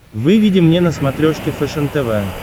выведи мне на смотрешке фэшен тв